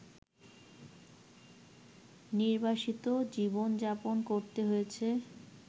নির্বাসিত জীবনযাপন করতে হয়েছে